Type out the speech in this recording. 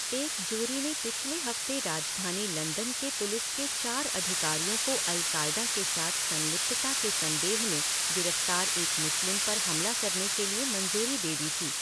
एक जूरी ने पिछले हफ्ते राजधानी लंदन के पुलिस के चार अधिकारियों को अल कायदा के साथ संलिप्तता के संदेह में गिरफ्तार एक मुस्लिम पर हमला करने के लिए मंजूरी दे दी थी।